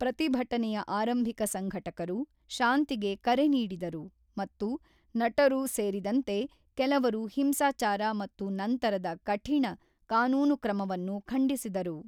ಪ್ರತಿಭಟನೆಯ ಆರಂಭಿಕ ಸಂಘಟಕರು ಶಾಂತಿಗೆ ಕರೆ ನೀಡಿದರು ಮತ್ತು ನಟರು ಸೇರಿದಂತೆ ಕೆಲವರು ಹಿಂಸಾಚಾರ ಮತ್ತು ನಂತರದ ಕಠಿಣ ಕಾನೂನು ಕ್ರಮವನ್ನು ಖಂಡಿಸಿದರು.